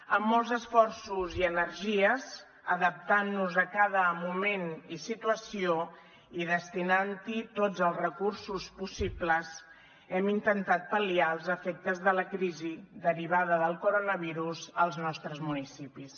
amb molts esforços i energies adaptant nos a cada moment i situació i destinant hi tots els recursos possibles hem intentat pal·liar els efectes de la crisi derivada del coronavirus als nostres municipis